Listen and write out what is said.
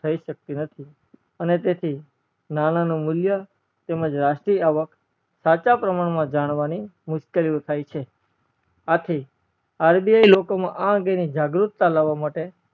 થય શક્તિ નથી અને તેથી નાણા નું મુલ્ય તેમજ રાષ્ટ્રીય આવક સાચા પ્રમાણ માં જાણવાની મુશ્કેલીઓ થાય છે આથી RBI લોકો માં અંગે ની જાગરૂકતા લાવવા માટે